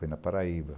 Foi na Paraíba.